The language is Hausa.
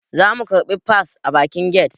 Za mu karbi fas a bakin get